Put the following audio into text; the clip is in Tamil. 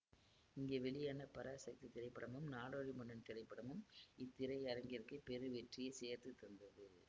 இங்கே வெளியான பராசக்தி திரைப்படமும் நாடோடி மன்னன் திரைப்படமும் இத்திரையரங்கிற்கு பெருவெற்றியை சேர்த்து தந்தது